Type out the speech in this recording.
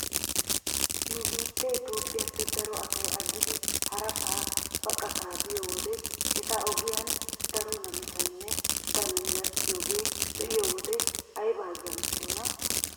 Nu biittee tiiphpheeppe daro asay aggidi harasaa baqataa biyoo wode eta ogiyan daro namisaynne danoy gakkiyoogaa be'iyoo wode ayba azzanttiyoonaa?